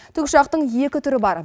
тікұшақтың екі түрі бар